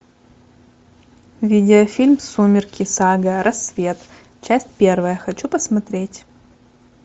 видеофильм сумерки сага рассвет часть первая хочу посмотреть